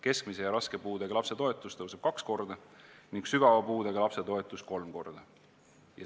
Keskmise ja raske puudega lapse toetus tõuseb kaks korda ning sügava puudega lapse toetus kolm korda.